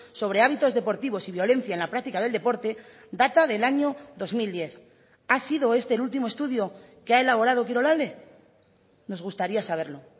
sobre hábitos deportivos y violencia en la práctica del deporte data del año dos mil diez ha sido este el último estudio que ha elaborado kirolalde nos gustaría saberlo